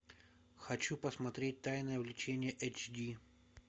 хочу посмотреть тайное влечение эйч ди